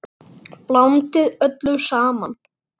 Blandið öllu saman.